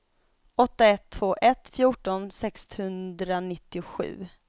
åtta ett två ett fjorton sexhundranittiosju